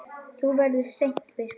Þú verður seint biskup!